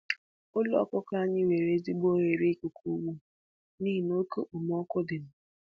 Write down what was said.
Ụlọ ọkụkụ anyị nwere ezigbo oghere ikuku ugbu a nihi oke okpomọkụ dịnụ